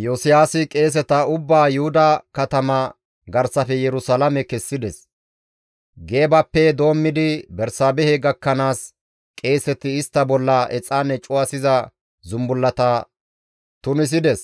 Iyosiyaasi qeeseta ubbaa Yuhuda katama garsafe Yerusalaame kessides. Geebappe doommidi Bersaabehe gakkanaas qeeseti istta bolla exaane cuwasiza zumbullata tunisides.